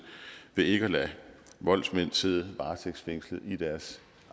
ved ikke at lade voldsmænd sidde varetægtsfængslet i deres